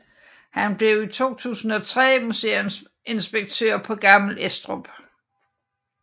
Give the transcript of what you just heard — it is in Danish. Han blev i 2003 museumsinspektør på Gammel Estrup